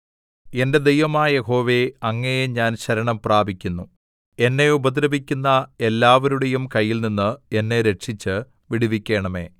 എന്റെ ദൈവമായ യഹോവേ അങ്ങയെ ഞാൻ ശരണം പ്രാപിക്കുന്നു എന്നെ ഉപദ്രവിക്കുന്ന എല്ലാവരുടെയും കയ്യിൽനിന്ന് എന്നെ രക്ഷിച്ചു വിടുവിക്കണമേ